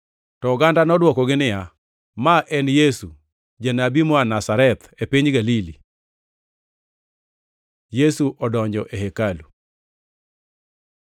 To oganda nodwokogi niya, “Ma en Yesu, janabi moa Nazareth, e piny Galili.” Yesu odonjo e hekalu